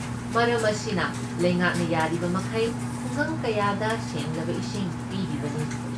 ꯃꯔꯝ ꯑꯁꯤꯅ ꯂꯩꯉꯥꯛꯅ ꯌꯥꯔꯤꯕꯃꯈꯩ ꯈꯨꯡꯒꯪ ꯀꯌꯥꯗ ꯁꯦꯡꯂꯕ ꯏꯁꯤꯡ ꯄꯤꯔꯤꯕꯅꯤ꯫